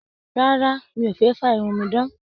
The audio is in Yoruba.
Rárá, mí o fẹ fa irun mí dan.